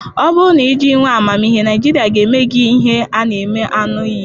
Ọ bụrụ na ị jụ inwe amamihe, Nigeria ga-eme gị ihe, a na m aṅụ iyi.